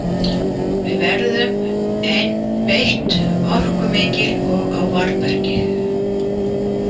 Við verðum einbeitt, orkumikil og á varðbergi.